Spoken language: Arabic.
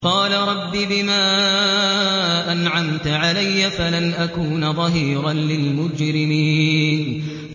قَالَ رَبِّ بِمَا أَنْعَمْتَ عَلَيَّ فَلَنْ أَكُونَ ظَهِيرًا لِّلْمُجْرِمِينَ